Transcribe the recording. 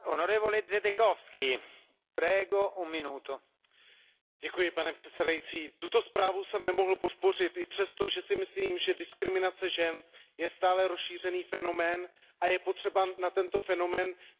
Pane předsedající, tuto zprávu jsem nemohl podpořit i přesto, že si myslím, že diskriminace žen je stále rozšířený fenomén, a je potřeba na tento fenomén neustále systematicky upozorňovat a bojovat proti němu.